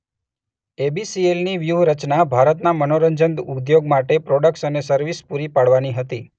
એ_શબ્દ બી_શબ્દ સી_શબ્દ એલ_શબ્દ ની વ્યૂહરચના ભારતના મનોરંજન ઉદ્યોગ માટે પ્રોડક્ટ્સ અને સર્વિસ પૂરી પાડવાની હતી.